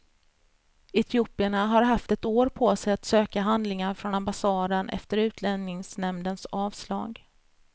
Etiopierna har haft ett år på sig att söka handlingar från ambassaden efter utlänningsnämndens avslag.